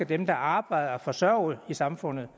dem der arbejder skal forsørge i samfundet